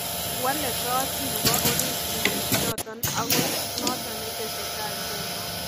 Wale koot nebo orit kitikk choton ako noton netesetai nguno